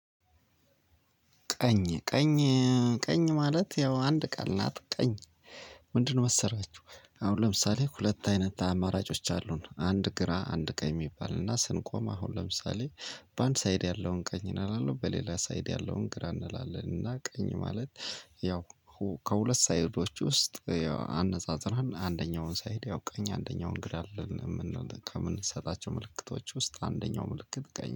ቀኝ፣ ቀኝ ማለት ያው አንድ ቃል ናት ቀኝ። ምንድነው መሰላችሁ አሁን ለምሳሌ ሁለት አይነት አማራጮች አሉን። አንድ ግራ አንድ ቀኝ የሚባል እና ስንቆም አሁን ለምሳሌ በአንድ ሳይድ ያለውን ቀኝ እናደርገዋለን በሌላ ሳይድ ያለውን ግራ እንላለን። እና ቀኝ ማለት ያው ከሁለት ሳይዶች ውስጥ አነጻጽራን አንደኛውን ሳይድ ያው ቀኝ አንደኛውን ግራ አለን የምንል ከምንሰጣቸው ምልክቶች ውስጥ አንደኛው ምልክት ቀኝ